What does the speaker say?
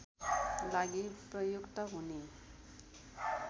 लागि प्रयुक्त हुने